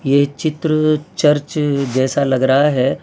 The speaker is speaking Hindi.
ये चित्र चर्च जैसा लग रहा है।